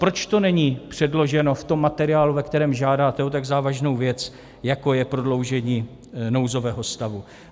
Proč to není předloženo v tom materiálu, ve kterém žádáte o tak závažnou věc, jako je prodloužení nouzového stavu?